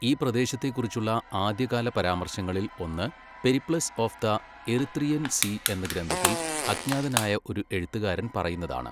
ഈ പ്രദേശത്തെ കുറിച്ചുള്ള ആദ്യകാല പരാമർശങ്ങളിൽ ഒന്ന് Periplus of the Erythraean Sea എന്ന ഗ്രന്ഥത്തിൽ അജ്ഞാതനായ ഒരു എഴുത്തുകാരൻ പറയുന്നതാണ്.